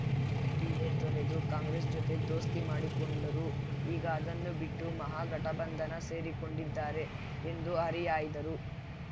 DA ತೊರೆದು ಕಾಂಗ್ರೆಸ್‌ ಜತೆ ದೋಸ್ತಿ ಮಾಡಿಕೊಂಡರು ಈಗ ಅದನ್ನೂ ಬಿಟ್ಟು ಮಹಾಗಠಬಂಧನ ಸೇರಿಕೊಂಡಿದ್ದಾರೆ ಎಂದು ಹರಿಹಾಯ್ದರು